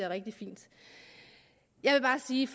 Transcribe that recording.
rigtig fint jeg vil bare sige